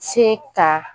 Se ka